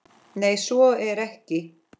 Nei, svo er ekki.